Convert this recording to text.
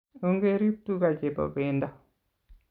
Ongerip tuka che po pendo